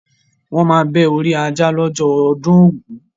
Wọ́n máa bẹ́ orí ajá lọ́jọ́ ọdún ògún.